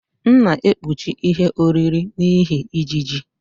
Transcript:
M na-ekpuchi ihe oriri n'ihi ijiji.